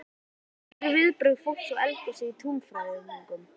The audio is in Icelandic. Hver eru viðbrögð fólks við eldgosi í túnfætinum?